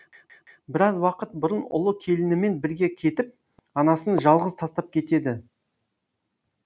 біраз уақыт бұрын ұлы келінімен бірге кетіп анасын жалғыз тастап кетеді